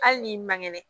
Hali n'i man kɛnɛ